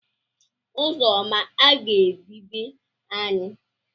Uzoma aga-ebi be anyị.